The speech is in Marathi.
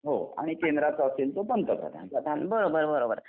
हो आणि केंद्राचा असेल तो पंतप्रधान